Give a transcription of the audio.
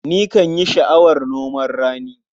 Nikan yi sha'awar noman rani.